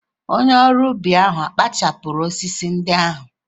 Onye ọrụ ubi ahụ ọ̀ kpachapụrụ osisi ndị ahụ?